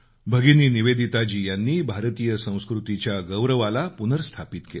भगिनी निवेदिताजी यांनी भारतीय संस्कृतीच्या गौरवाला पुनर्स्थापित केलं